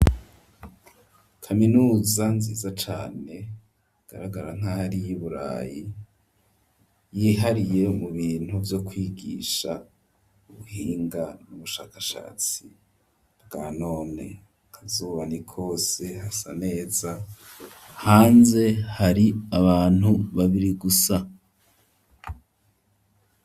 Kaminuza nziza cane, igaragara nk'aho ari iy'i burayi, yihariye mu bintu vyo kwigisha ubuhinga n'ubushakashatsi bwa none, akazuba ni kose hasa neza, hanze hari abantu babiri gusa.